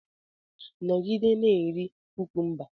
Nọgide na-eri kukumba!